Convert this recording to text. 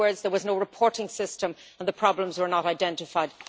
In other words, there was no reporting system and the problems were not identified.